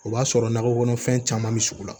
O b'a sɔrɔ nakɔ kɔnɔfɛn caman bɛ sugu la